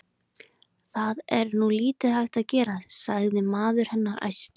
Það er nú lítið hægt að gera, sagði maður hennar æstur.